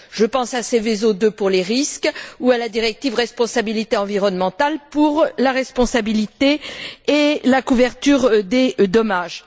Je pense à Seveso II pour les risques ou à la directive sur la responsabilité environnementale pour la responsabilité et la couverture des dommages.